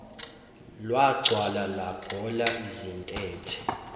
lwagcwala lwagola izintethe